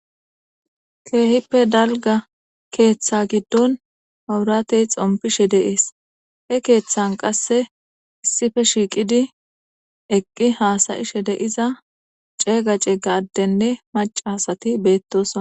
Kehippe dalgga keththa giddon mabbiratey xoompishe de7es he keththan qasse issipe shiqqidi eqqi hasaishe deizza ceega ceega addene macca asati bettossona.